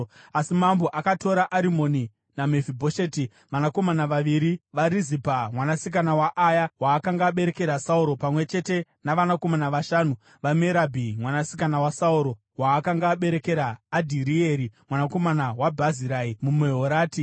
Asi mambo akatora Arimoni naMefibhosheti, vanakomana vaviri vaRizipa mwanasikana waAya, waakanga aberekera Sauro, pamwe chete navanakomana vashanu vaMerabhi mwanasikana waSauro, waakanga aberekera Adhirieri mwanakomana waBhazirai muMehorati.